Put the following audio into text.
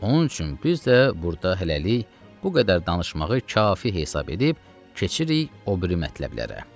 Onun üçün biz də burda hələlik bu qədər danışmağı kafi hesab edib keçirik o biri mətləblərə.